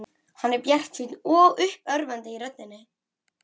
Hann er bjartsýnn og uppörvandi í röddinni.